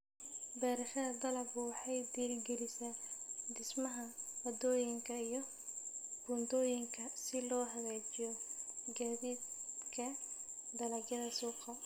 Beerashada dalaggu waxay dhiirigelisaa dhismaha waddooyinka iyo buundooyinka si loo hagaajiyo gaadiidka dalagyada suuqa.